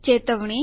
ચેતવણી